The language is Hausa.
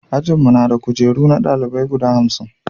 ajin mu na da kujeru na dalibai guda hamsin